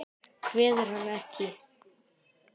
Kveður hann ekki.